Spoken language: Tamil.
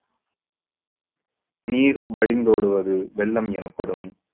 நீர் வழிந்தோடுவது வெள்ளம் எனப்படும்